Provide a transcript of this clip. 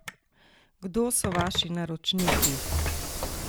Kdo so vaši naročniki?